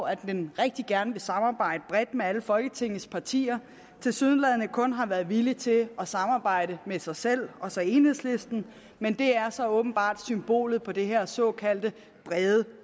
at den rigtig gerne vil samarbejde bredt med alle folketingets partier tilsyneladende kun har været villig til at samarbejde med sig selv og så enhedslisten men det er så åbenbart symbolet på det her såkaldte brede